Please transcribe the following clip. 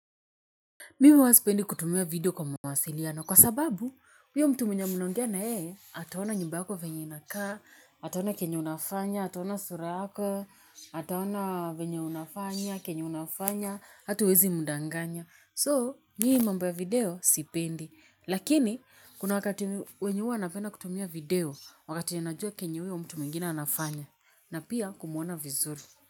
Mimi huwa sipendi kutumia video kwa mawasiliano kwa sababu huyo mtu mnaongea na yeye ataona nyumba yako venye inakaa, ataona kenye unafanya, ataona sura yako, ataona venye unafanya, kenye unafanya, hata huwezi mdanganya. So, mimi mambo ya video sipendi. Lakini, kuna wakati wenye huwa napenda kutumia video wakati ninajua kenye huyo mtu mwingine anafanya na pia kumuona vizuri.